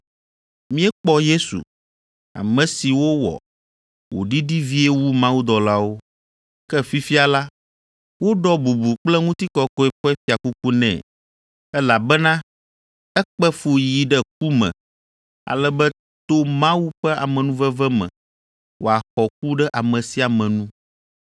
Míekpɔ Yesu, ame si wowɔ wòɖiɖi vie wu mawudɔlawo, ke fifia la, woɖɔ bubu kple ŋutikɔkɔe ƒe fiakuku nɛ, elabena ekpe fu yi ɖe ku me ale be to Mawu ƒe amenuveve me wòaxɔ ku ɖe ame sia ame nu.